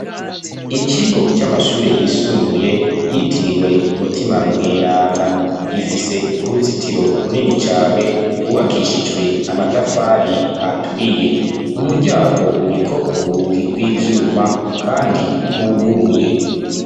Ikigo c'amashure yisumbuye yitiriwe umutima Mweranda gifise uruzitiro runini cane rwubakishijwe amatafari aturiye umuryango uriko urugi rw'ivyuma kandi rwuguruye.